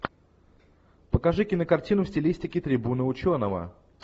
покажи кинокартину в стилистике трибуна ученого